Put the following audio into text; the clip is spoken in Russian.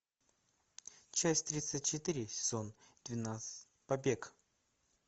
часть тридцать четыре сезон двенадцать побег